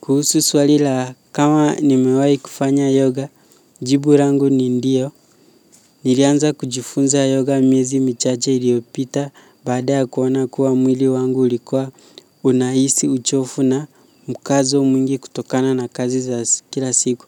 Kuhusu swali la, kama nimewahi kufanya yoga, jibu langu ni ndiyo. Nilianza kujifunza yoga miezi michache iliyopita baada ya kuona kuwa mwili wangu ulikuwa unahisi uchovu na mkazo mwingi kutokana na kazi nyingi za kila siku.